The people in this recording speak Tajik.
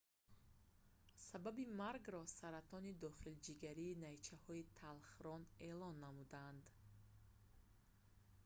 сабаби маргро саратони дохилиҷигарии найчаҳои талхарон эълон намуданд